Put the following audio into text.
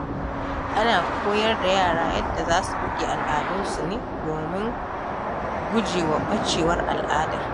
Ana koyar da yara yadda za su riƙe al’adunsu ne domin gujewa ɓacewar al'adar.